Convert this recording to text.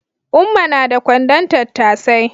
Umma na da kwandon tattasai